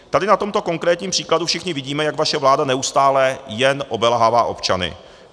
Tady na tomto konkrétním příkladu všichni vidíme, jak vaše vláda neustále jen obelhává občany.